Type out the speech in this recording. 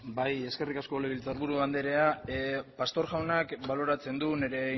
bai eskerrik asko legebiltzarburu andrea pastor jaunak baloratzen du nire